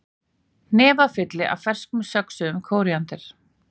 Hnefafylli af fersku söxuðu kóríander